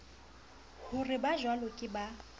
ho re bajwalo ke ba